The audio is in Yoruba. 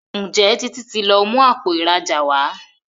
Njé Títí tí lọ mú Àpò ìrajà wá?